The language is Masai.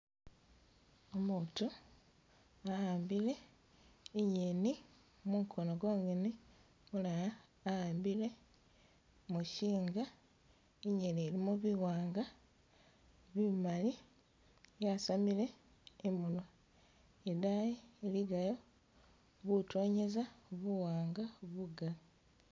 Umutu nga ahambile inyeni mukono gongene mulala ahambile muchinga inyeni ilimo biwanga, bimali yasamile iminwa idayi iligayo butonyeza buwanga bugali.